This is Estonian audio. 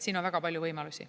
Siin on väga palju võimalusi.